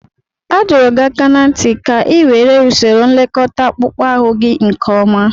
A dọrọ gị aka ná ntị ka ị were usoro nlekọta akpụkpọ ahụ gị nke ọma!